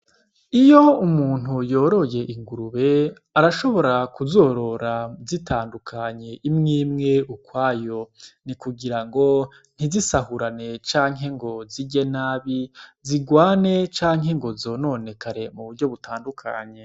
Iyo umuntu yoroye ingurube, arashobora kuzorora zitandukanye imwe imwe ukwayo. Ni kugira ngo ntizisahurane canke ngo zirye nabi, zigwane canke ngo zononekare mu buryo butandukanye.